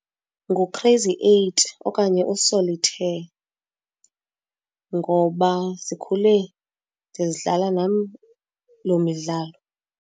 Ngu-crazy eight okanye u-solitaire ngoba sikhule ndizidlala nam loo midlalo.